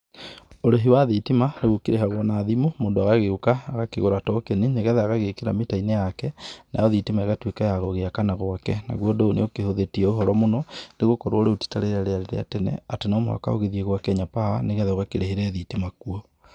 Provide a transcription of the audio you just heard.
Urĩhi wa thitima, rĩu ũkĩrĩhagwo na thimũ, mũndũ agagĩũka agakigũra na tokeni, nĩgetha agagĩkĩra tokeniinĩ yake, nayo thitima ĩgatũĩka ya gwakana gwake, naguo undũ ũyũ nĩĩ ũkĩhuthĩĩtie ũhoro mũno, nĩĩ gũkorwo rĩũ tita rĩrĩa rĩarĩ rĩa tene, atĩ no muhaka ũthie gwa kenya power nĩgetha ũgakĩrĩhĩre thitima kuo.